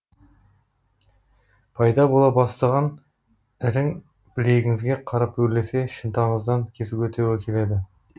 пайда бола бастаған ірің білегіңізге қарап өрлесе шынтағыңыздан кесуге тура келеді